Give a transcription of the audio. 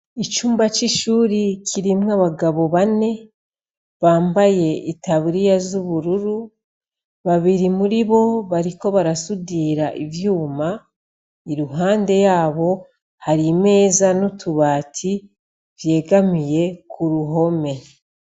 Icumba c'ishuri kirimwe abagabo bane bambaye itaburiya z'ubururu babiri muri bo bariko barasudira ivyuma i ruhande yabo hari imeza n'utubati vyegamiye kuruhome.